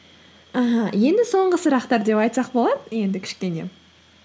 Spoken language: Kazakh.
аха енді соңғы сұрақтар деп айтсақ болады енді кішкене